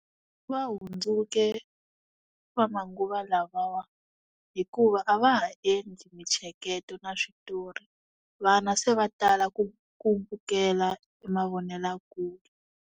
Va hundzuke va manguva lavawa hikuva a va ha endli mintsheketo na switori vana se va tala ku ku vukela emavonelakule.